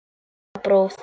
Líka borðið.